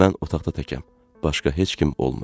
Mən otaqda təkəm, başqa heç kim olmur.